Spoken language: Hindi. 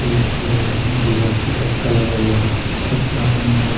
एक दीवार पर तक्ता लगा हुआ है फुटपाथ बना हुआ--